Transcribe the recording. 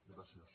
gràcies